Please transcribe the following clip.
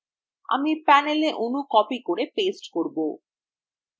আমি panel অনু copied করে পেস্ট করেছি